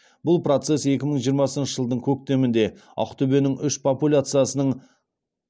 бұл процесс екі мың жиырмасыншы жылдың көктемінде ақтөбенің үш популяциясының